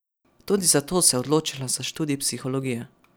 Tudi zato se je odločila za študij psihologije.